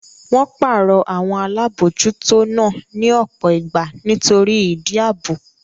Wọ́n pàrọ̀ àwọn Alábòójútó náà ní ọ̀pọ̀ ìgbà nítorí ìdí ààbò